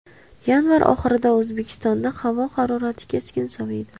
Yanvar oxirida O‘zbekistonda havo harorati keskin soviydi.